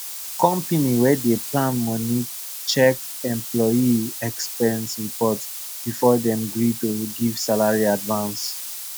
company wey dey plan money check employee expense report before dem gree to give salary advance